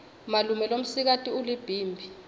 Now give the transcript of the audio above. malume lomsikati ulibhimbi